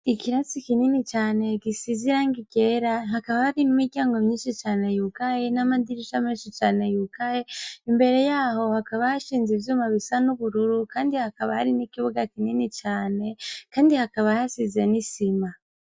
Ikirasi kinini cane gisiz' irangi ryera, hakaba hari n' imiryango myinshi cane yugaye, n amadirisha menshi cane yugaye, imbere yaho hakaba hashinz' ivyuma bisa n' ubururu, kandi hakaba hari ni kibuga kinini cane, kandi hakaba hasize n' isima.